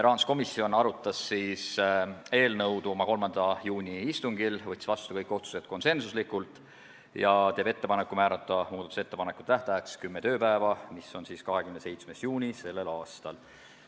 Rahanduskomisjon arutas eelnõu oma 3. juuni istungil, võttis kõik otsused vastu konsensusega ja teeb ettepaneku määrata muudatusettepanekute tähtajaks kümme tööpäeva, mis on siis 27. juuni sellel aastal.